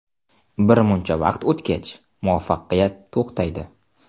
Birmuncha vaqt o‘tgach, muvaffaqiyat to‘xtaydi.